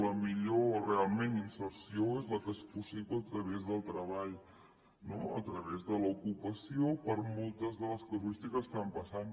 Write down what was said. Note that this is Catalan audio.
la millor realment inserció és la que és possible a través del treball no a través de l’ocupació per moltes de les casuístiques que estan passant